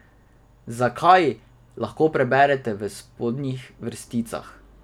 Zakaj, lahko preberete v spodnjih vrsticah.